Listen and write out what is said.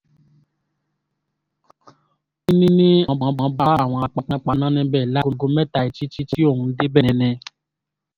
ó ní àwọn bá àwọn panápaná níbẹ̀ láago mẹ́ta ìdájí tí òun débẹ̀ ni